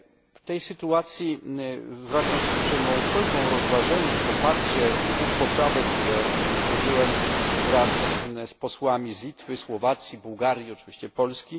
W tej sytuacji zwracam się z uprzejmą prośbą o rozważenie i poparcie dwóch poprawek, które złożyłem wraz z posłami z Litwy, Słowacji, Bułgarii i oczywiście Polski.